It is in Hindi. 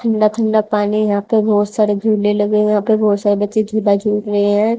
ठंडा ठंडा पानी यहां पे बहोत सारे झूले लगे हुए है यहां पे बहोत सारे बच्चे झूला झूल रहे है।